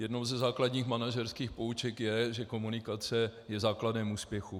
Jednou ze základních manažerských pouček je, že komunikace je základem úspěchu.